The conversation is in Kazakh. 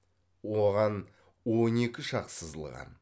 оған он екі шақ сызылған